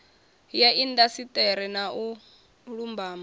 ya indasiṱeri na u lumbama